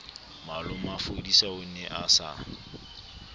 malomafodisa o ne a sa